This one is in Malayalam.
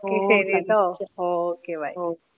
*Not clear* okay by.